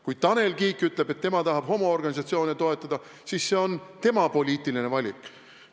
Kui Tanel Kiik ütleb, et tema tahab homoorganisatsioone toetada, siis see on tema poliitiline valik.